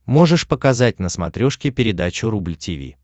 можешь показать на смотрешке передачу рубль ти ви